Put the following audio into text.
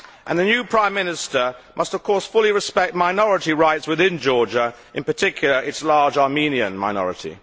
The new Prime Minister must of course fully respect minority rights within Georgia, in particular its large Armenian minority.